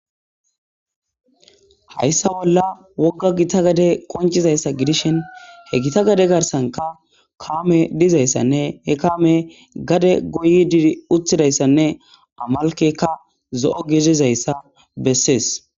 Hayssa bolla wogga gita gade qoncizayssa gidishin he gita gade garsanka kaame dizayssanne he kaame gade goyi dir uthidayssanne amalkekka zo'o gizizayssa bessees.